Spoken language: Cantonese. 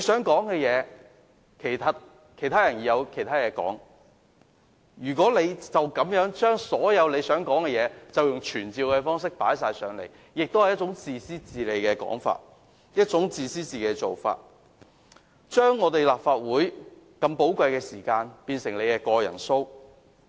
每位議員也有很多事情想提出，朱議員使用傳召方式來討論自己想討論的事項，其實是自私自利的做法，是要把立法會的寶貴時間變成他的個人表演。